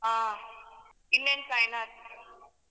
ಹಾ ಇನ್ನೇನ್ ಸಾಯಿನಾಥ್.